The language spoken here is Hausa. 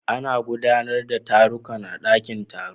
Ana gudanar da taruka a ɗaƙin taro.